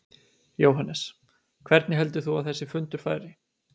Jóhannes: Hvernig heldur þú að þessi fundur fari?